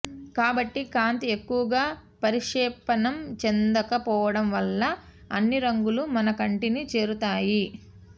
కాబట్టి కాంతి ఎక్కువగా పరిక్షేపణం చెందక పోవడం వల్ల అన్ని రంగులు మన కంటిని చేరతాయి